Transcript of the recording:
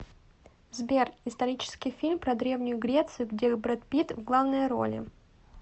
сбер исторический фильм про древнюю грецию где брэд пит в главной роли